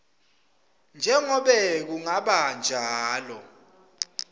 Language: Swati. njengobe kungaba njalo